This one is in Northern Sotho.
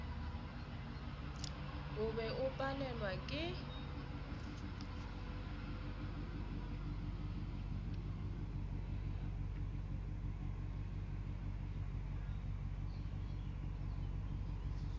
o be o palelwa ke